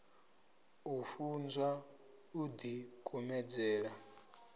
u funzwa u ḓi kumedzela